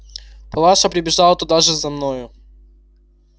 палаша прибежала туда же за мною